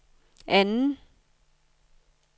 anden